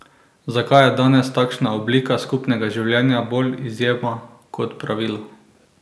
Zakaj je danes takšna oblika skupnega življenja bolj izjema kot pravilo?